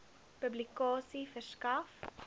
publikasie verskaf